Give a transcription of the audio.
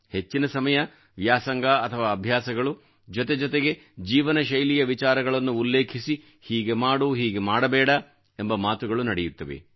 ಹೆಚ್ಚಿನ ಸಮಯ ವ್ಯಾಸಂಗ ಅಥವಾ ಅಭ್ಯಾಸಗಳು ಜೊತೆಗೆ ಜೀವನಶೈಲಿಯ ವಿಚಾರಗಳನ್ನು ಉಲ್ಲೇಖಿಸಿ ಹೀಗೆ ಮಾಡುಹೀಗೆ ಮಾಡಬೇಡ ಎಂಬ ಮಾತುಗಳು ನಡೆಯುತ್ತವೆ